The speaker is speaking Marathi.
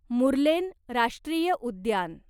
मुर्लेन राष्ट्रीय उद्यान